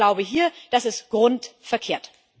das ist der Glaube hier, das ist grundverkehrt.